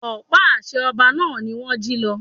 Ọ̀pá àṣẹ ọba náà ni wón jí lọ.